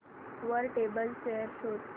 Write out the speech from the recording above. वर table chair शोध